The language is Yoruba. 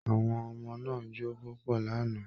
Àwọn ọmọ náà jó púpọ̀ lánàá